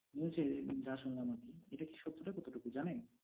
news -এ যা শুনলাম আর কি। এইটা কি সত্যটা কতোটুকু, জানেন?